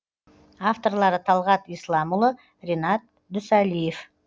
авторлары талғат исламұлы ренат дүсалиев